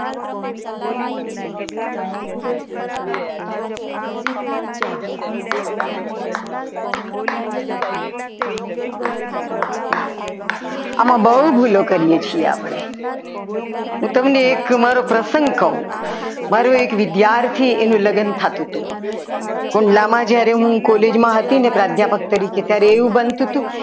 આમાં બહુ ભૂલો કરીએ છીએ આપણે હું તમને એક પ્રસંગ કહું મારો મારો એક વિદ્યાર્થી એનું લગ્ન થતું હતું. ખુલ્લામાં જ્યારે હું college માં હતી અધ્યાત્મક તરીકે એવું બનતું હતું કે